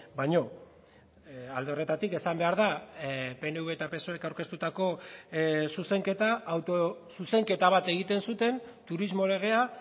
baino alde horretatik esan behar da pnv eta psoek aurkeztutako zuzenketa autozuzenketa bat egiten zuten turismo legea